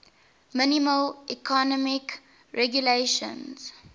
minimal economic regulations